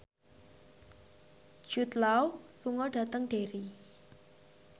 Jude Law lunga dhateng Derry